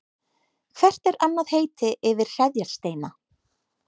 Hvert er annað heiti yfir hreðjarsteina?